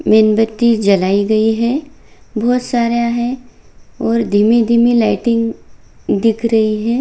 मेन्बत्ति जलाई गयी है बहोत सारा है और धीमी-धीमी लाइटिंग दिख रही है।